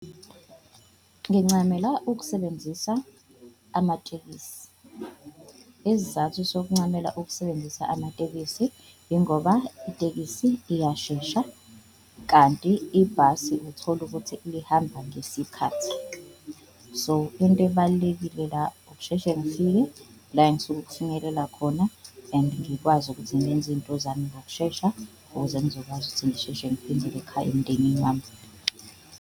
Ngincamela ukusebenzisa amatekisi isizathu sokuncamela ukusebenzisa amatekisi ingoba itekisi iyashesha, kanti ibhasi uthola ukuthi lihamba ngesikhathi so into ebalulekile la ukusheshe ngifike la engisuke ukufinyelela khona. And ngikwazi ukuthi ngenze intozami ngokushesha ukuze ngizokwazi ukuthi ngisheshe ngiphindele ekhaya emndenini wami.